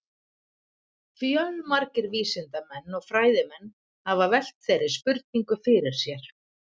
Fjölmargir vísindamenn og fræðimenn hafa velt þeirri spurningu fyrir sér.